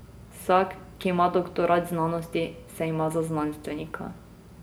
Vsak, ki ima doktorat znanosti, se ima za znanstvenika.